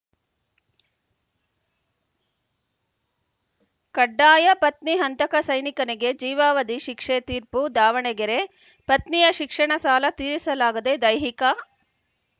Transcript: ಕಡ್ಡಾಯ ಪತ್ನಿ ಹಂತಕ ಸೈನಿಕನಿಗೆ ಜೀವಾವಧಿ ಶಿಕ್ಷೆ ತೀರ್ಪು ದಾವಣಗೆರೆ ಪತ್ನಿಯ ಶಿಕ್ಷಣ ಸಾಲ ತೀರಿಸಲಾಗದೇ ದೈಹಿಕ